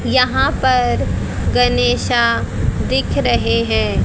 यहां पर गणेशा दिख रहे हैं।